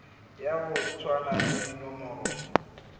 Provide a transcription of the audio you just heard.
ya go tshwana le dinomoro